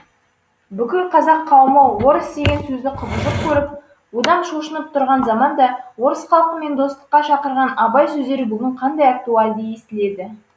бүкіл қазақ қауымы орыс деген сөзді кұбыжық көріп одан шошынып тұрған заманда орыс халкымен достыққа шақырған абай сөздері бүгін қандай актуальды естіледі